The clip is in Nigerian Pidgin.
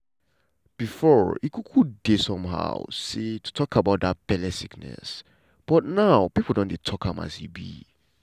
befor e um dey somehow um to talk about dat belle sickness but now pipo don dey talk am as e be.